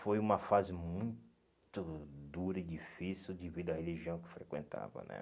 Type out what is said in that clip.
Foi uma fase muito dura e difícil devido à religião que eu frequentava, né?